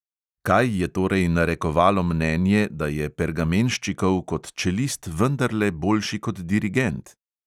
Kaj je torej narekovalo mnenje, da je pergamenščikov kot čelist vendarle boljši kot dirigent?